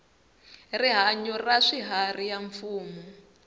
rihanyu ra swiharhi ya mfumo